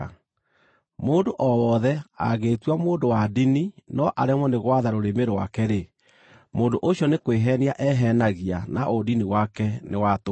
Mũndũ o wothe angĩĩtua mũndũ wa ndini no aremwo nĩ gwatha rũrĩmĩ rwake-rĩ, mũndũ ũcio nĩ kwĩheenia eheenagia, na ũndini wake nĩ wa tũhũ.